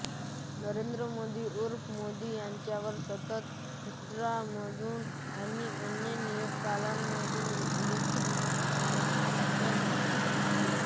नरेंद्र मोदी ऊर्फ नमो यांच्यावर सतत वृत्तपत्रांमधून आणि अन्य नियतकालिकांतून लिखाण प्रसिद्ध होत असते